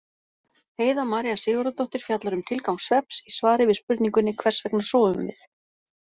Heiða María Sigurðardóttir fjallar um tilgang svefns í svari við spurningunni Hvers vegna sofum við?